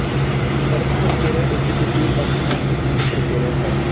ਪੜ੍ਹਨ ਪ੍ਰਕਿਰਿਆ ਇੱਕ ਜਟਿਲ ਅਤੇ ਅੰਤਹੀਣ ਪ੍ਰਕਿਰਿਆ ਹੈ